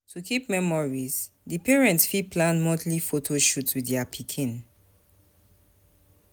To keep memories, di parents fit plan monthly photo shoot with their pikin